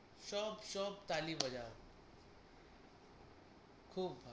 সব সব তালি বাজায়, খুব ভালো।